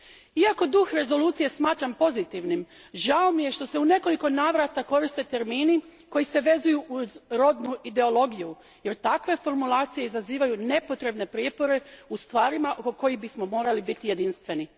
Iako duh rezolucije smatram pozitivnim, žao mi je što se u nekoliko navrata koriste termini koji se vezuju uz rodnu ideologiju jer takve formulacije izazivaju nepotrebne prijepore u stvarima oko kojih bismo morali biti jedinstveni.